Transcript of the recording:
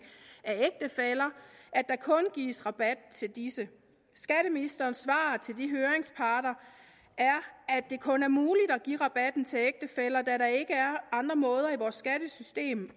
af ægtefæller at der kun gives rabat til disse skatteministerens svar til de høringsparter er at det kun er muligt at give rabatten til ægtefæller da der ikke er andre måder i vores skattesystem